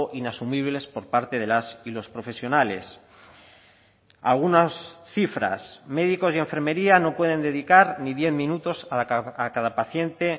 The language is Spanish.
inasumibles por parte de las y los profesionales algunas cifras médicos y enfermería no pueden dedicar ni diez minutos a cada paciente